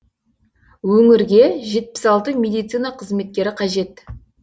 өңірге жетпіс алты медицина қызметкері қажет